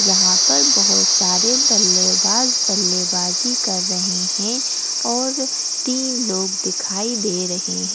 यहां पर बहुत सारे बल्लेबाज बल्लेबाजी कर रहे हैं और तीन लोग दिखाई दे रहे हैं ।